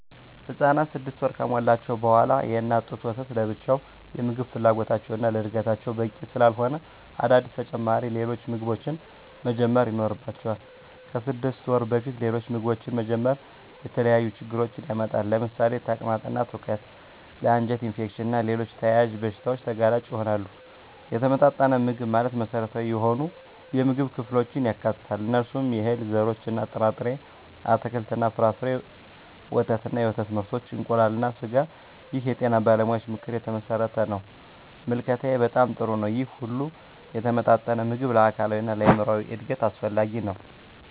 ህፃናት 6 ወር ከሞላቸው በዋላ የእናት ጡት ወተት ለብቻው የምግብ ፍላጎታቸውን እና ለዕድገታቸው በቂ ስላለሆነ አዳዲስ ተጨማሪ ሌሎች ምግቦችን መጀመር ይኖርባቸዋል። ከ6 ወር በፊት ሌሎች ምግቦችን መጀመር የተለያዩ ችግሮችን ያመጣል ለምሳሌ ተቅማጥ እና ትውከት ለ አንጀት ኢንፌክሽን እና ሌሎች ተያያዝ በሺታዎች ተጋላጭ ይሆናሉ። የተመጣጠነ ምግብ ማለት መሰረታዊ የሆኑ የምግብ ክፍሎችን ያካትታል። እነሱም፦ የእህል ዘርሮች እና ጥርጣሬ፣ አትክልት እና ፍራፍሬ፣ ወተት እና የወተት ምርቶች፣ እንቁላል እና ስጋ ይህ የጤና ባለሙያዎች ምክር የተመሠረተ ነው። ምልከታዬ በጣም ጥሩ ነው ይህ ሁሉ የተመጣጠነ ምግብ ለአካላዊ እና ለአይምራዊ እድገት አስፈላጊ ነው።